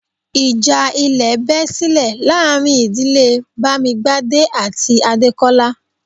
Ìjà ilẹ̀ bẹ́ silẹ̀ láàrin ìdílé Bamigbade àti Adekola